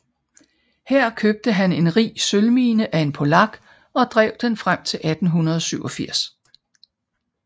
Her købte han en rig sølvmine af en polak og drev den frem til 1887